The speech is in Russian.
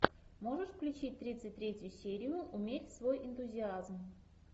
можешь включить тридцать третью серию умерь свой энтузиазм